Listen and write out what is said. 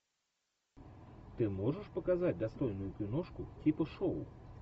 ты можешь показать достойную киношку типа шоу